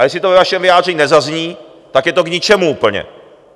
A jestli to ve vašem vyjádření nezazní, tak je to k ničemu úplně.